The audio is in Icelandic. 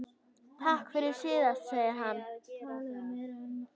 Takk fyrir síðast, segir hann.